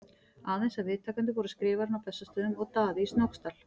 Aðeins að viðtakendur voru Skrifarinn á Bessastöðum og Daði í Snóksdal.